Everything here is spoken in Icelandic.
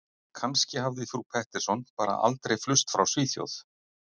Kannski hafði frú Pettersson bara aldrei flust frá Svíþjóð.